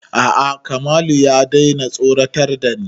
A'a Kamalu ya daina tsoratar da ni